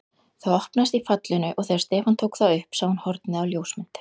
Það opnaðist í fallinu og þegar Stefán tók það upp sá hann hornið á ljósmynd.